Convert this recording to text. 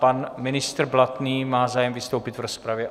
Pan ministr Blatný má zájem vystoupit v rozpravě?